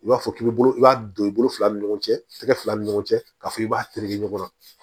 I b'a fɔ k'i b'i bolo i b'a don i bolo fila ni ɲɔgɔn cɛ tɛgɛ fila ni ɲɔgɔn cɛ k'a fɔ k'i b'a tereke ɲɔgɔn na